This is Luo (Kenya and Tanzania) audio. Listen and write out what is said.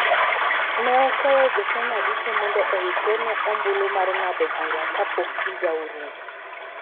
Ne okwayo jo Kenya duto mondo oikre ne ombulu mar ng�ado bura kapok higa orumo.